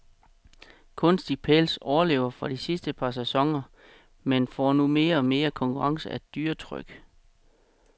Kunstig pels overlever fra de sidste par sæsoner, men får nu mere og mere konkurrence af dyretryk.